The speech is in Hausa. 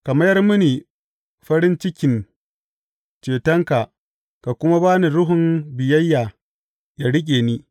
Ka mayar mini farin cikin cetonka ka kuma ba ni ruhun biyayya, yă riƙe ni.